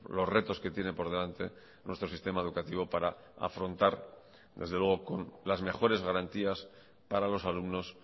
los retos que tiene por delante nuestro sistema educativo para afrontar desde luego con las mejores garantías para los alumnos